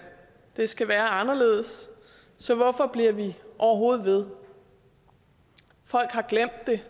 det skal være anderledes så hvorfor bliver vi overhovedet ved folk har glemt det